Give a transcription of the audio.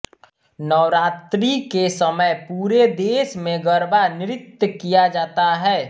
नवरात्रि के समय पूरे देश में गरबा नृत्य किया जाता है